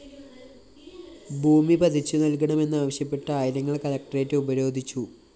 ഭൂമി പതിച്ചു നല്‍കണമെന്നാവശ്യപ്പെട്ട്‌ ആയിരങ്ങള്‍ കളക്ടറേറ്റ്‌ ഉപരോധിച്ചു